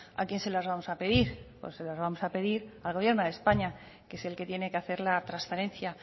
a quién se las vamos a pedir pues se las vamos a pedir al gobierno de españa que es el que tiene que hacer la transferencia